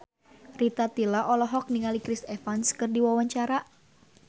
Rita Tila olohok ningali Chris Evans keur diwawancara